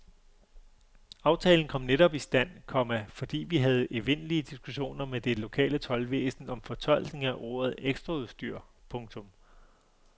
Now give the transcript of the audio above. Aftalen kom netop i stand, komma fordi vi havde evindelige diskussioner med det lokale toldvæsen om fortolkning af ordet ekstraudstyr. punktum